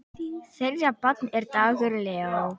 Þeirra barn er Dagur Leó.